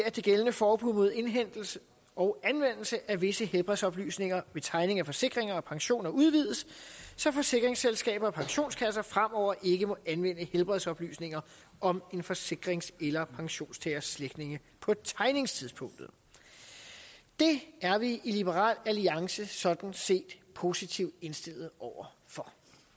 at det gældende forbud mod indhentelse og anvendelse af visse helbredsoplysninger ved tegning af forsikringer og pensioner udvides så forsikringsselskaber og pensionskasser fremover ikke må anvende helbredsoplysninger om en forsikrings eller pensionstagers slægtninge på tegningstidspunktet det er vi i liberal alliances sådan set positivt indstillet over for